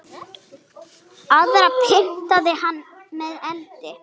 Aðra pyntaði hann með eldi.